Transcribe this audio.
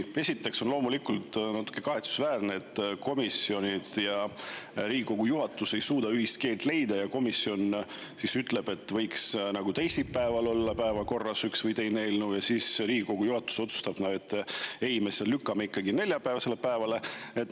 Esiteks on loomulikult natuke kahetsusväärne, et komisjonid ja Riigikogu juhatus ei suuda ühist keelt leida, komisjon ütleb, et võiks teisipäeval olla päevakorras üks või teine eelnõu, ja siis Riigikogu juhatus otsustab, et ei, me selle lükkame ikkagi neljapäevasele päevale.